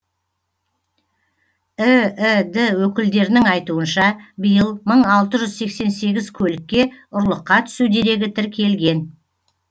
іід өкілдерінің айтуынша биыл мың алты жүз сексен сегіз көлікке ұрлыққа түсу дерегі тіркелген